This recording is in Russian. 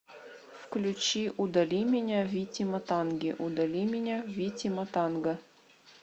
включи удали меня вити матанги удали меня вити матанга